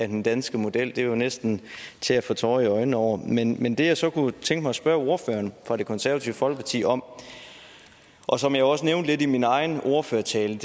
den danske model det er jo næsten til at få tårer i øjnene over men men det jeg så kunne tænke mig at spørge ordføreren fra det konservative folkeparti om og som jeg også nævnte lidt i min egen ordførertale